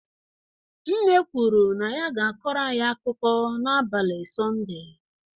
Nne kwuru na ya ga-akọrọ anyị akụkọ n'abalị Sọnde